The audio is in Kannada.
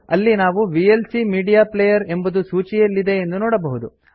ಅಲ್ಲಿ ನಾವು ವಿಎಲ್ಸಿ ಮೀಡಿಯಾ ಪ್ಲೇಯರ್ ಎಂಬುದು ಸೂಚಿಯಲ್ಲಿದೆ ಎಂದು ನೋಡಬಹುದು